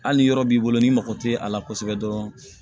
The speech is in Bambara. Hali ni yɔrɔ b'i bolo n'i mago tɛ a la kosɛbɛ dɔrɔn